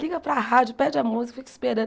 Liga para a rádio, pede a música, e fica esperando.